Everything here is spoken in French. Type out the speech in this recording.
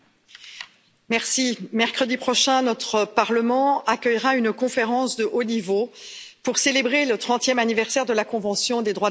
Monsieur le Président, mercredi prochain, notre Parlement accueillera une conférence de haut niveau pour célébrer le trentième anniversaire de la convention des droits de l'enfant.